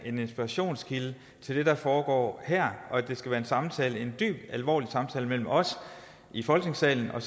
en inspirationskilde til det der foregår her og der skal være en samtale en dyb alvorlig samtale mellem os i folketingssalen og